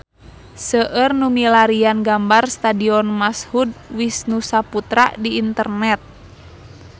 Seueur nu milarian gambar Stadion Mashud Wisnusaputra di internet